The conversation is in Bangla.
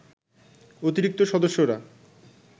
অতিরিক্ত সদস্যরা